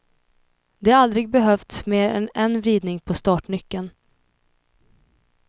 Det har aldrig behövts mer än en vridning på startnyckeln.